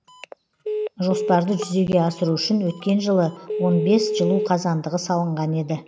жоспарды жүзеге асыру үшін өткен жылы он бес жылу қазандығы салынған еді